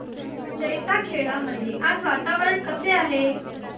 जैताखेडा मध्ये आज वातावरण कसे आहे